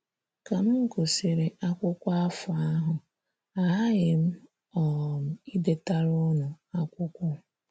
“ Ka m gụsịrị akwụkwọ afọ ahụ, aghaghị m um idetara unu akwụkwọ.